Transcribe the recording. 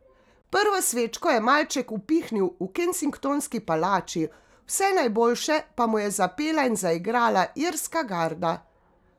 Prvo svečko je malček upihnil v Kensingtonski palači, Vse najboljše pa mu je zapela in zaigrala Irska garda.